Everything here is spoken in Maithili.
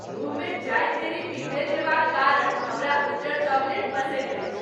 मुँहमे जाइत देरि पिघलि जएबाक कारण हमरा उज्जर चॉकलेट पसिन्न अछि।